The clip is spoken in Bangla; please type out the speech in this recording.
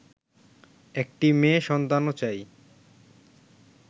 একটি মেয়ে সন্তানও চাই